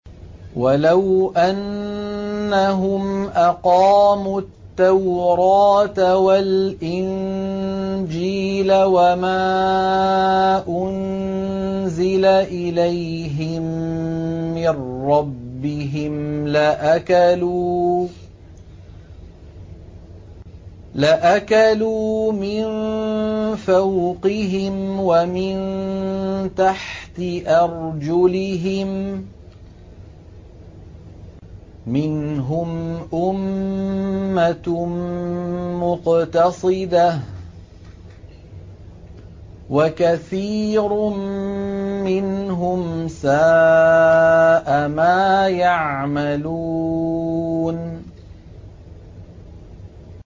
وَلَوْ أَنَّهُمْ أَقَامُوا التَّوْرَاةَ وَالْإِنجِيلَ وَمَا أُنزِلَ إِلَيْهِم مِّن رَّبِّهِمْ لَأَكَلُوا مِن فَوْقِهِمْ وَمِن تَحْتِ أَرْجُلِهِم ۚ مِّنْهُمْ أُمَّةٌ مُّقْتَصِدَةٌ ۖ وَكَثِيرٌ مِّنْهُمْ سَاءَ مَا يَعْمَلُونَ